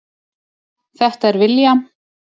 Þetta er William.